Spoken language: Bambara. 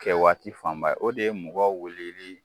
Kɛ waati fanba ye, o de ye mɔgɔ weleli